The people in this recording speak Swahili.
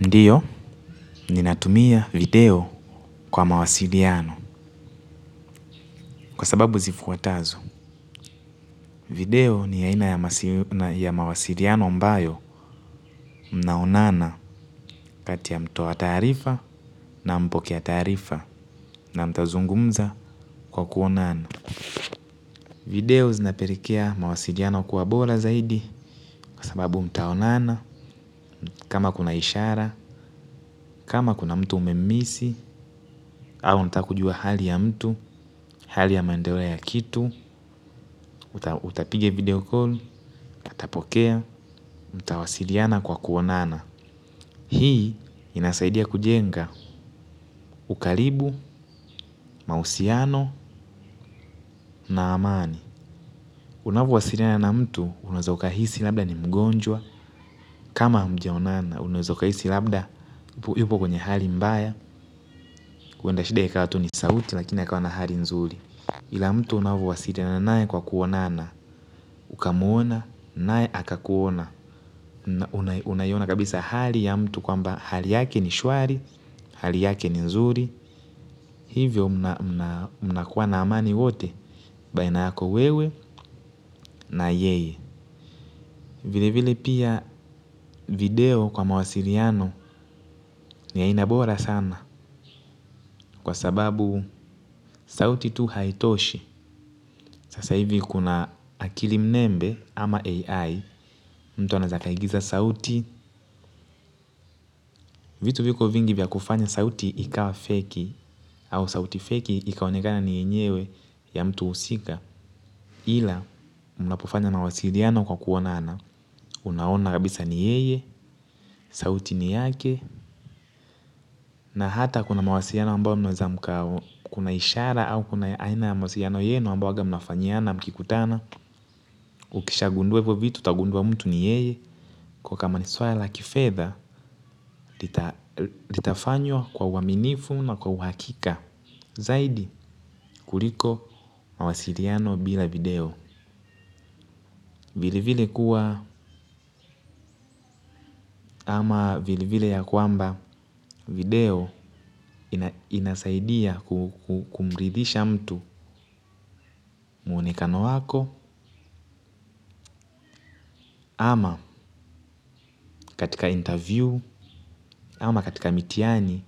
Ndiyo, ninatumia video kwa mawasiliano kwa sababu zifuatazo. Video ni aina ya mawasiliano smbayo mnaonana kati ya mtu wa taarifa na mpokea taarifa na mtazungumza kwa kuonana. Video zinapelekea mawasiliano kwa bora zaidi kwa sababu mtaonana kama kuna ishara, kama kuna mtu umemisi, au unatakujua hali ya mtu, hali ya mandeleo ya kitu, utapiga video call, atapokea, mtawasiliana kwa kuonana. Hii inasaidia kujenga ukaribu, mahusiano na amani. Unavo walisiana na mtu unaweza ukahisi labda ni mgojwa kama hamjaonana unaweza hisi labda yuko kwenye hali mbaya huenda shida ikawa tu ni sauti lakini akawa na hali nzuri ila mtu unavyo wasiliana nae kwa kuonana, ukamuona, nae akakuona. Unaiona kabisa hali ya mtu kwamba hali yake ni shwari, hali yake ni nzuri. Hivyo mna kuwa na amani wote, baina yako wewe na yeye. Vile vile pia video kwa mawasiliano ni aina bora sana. Kwa sababu sauti tu haitoshi. Sasa hivi kuna akili mnembe ama AI mtu anaweza akaigiza sauti, vitu viko vingi vya kufanya sauti ikawa fake au sauti fake ikaonekana ni yenyewe ya mtu husika. Ila mnapofanya mawasiliano kwa kuonana, unaona kabisa ni yeye, sauti ni yake, na hata kuna mawasiliano ambao mnaweza mkau kuna ishara au kuna aina mawasiliano yenu ambao waga mnafanyiana mkikutana. Ukisha gundua hivo vitu, utagundua mtu ni yeye. Kwa kama ni swala la kifedha. Litafanywa kwa uaminifu na kwa uhakika zaidi kuliko mawasiliano bila video, vile vile kuwa ama vili vile ya kwamba video inasaidia kumridhisha mtu meonekano wako. Ama katika interview ama katika mitihani